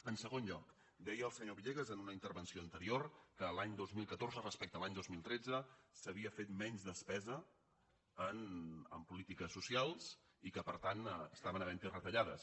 en segon lloc deia el senyor villegas en una in·tervenció anterior que a l’any dos mil catorze respecte a l’any dos mil tretze s’havia fet menys despesa en polítiques socials i que per tant estaven havent·hi retallades